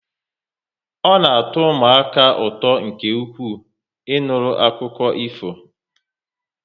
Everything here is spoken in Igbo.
Ọ na atọ ụmụaka m ụtọ nke ukwuu, Ị nụrụ akụkọ ifo